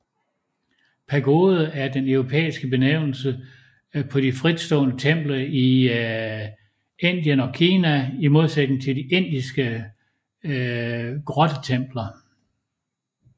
Pagode er den europæiske benævnelse på de fritstående templer i Indien og Kina i modsætning til de indiske grottetempler